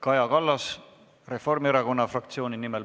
Kaja Kallas Reformierakonna fraktsiooni nimel.